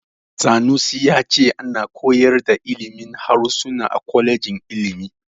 Sanusi ya ce ana koyar da ilimin harsuna a kwalejin ilimi.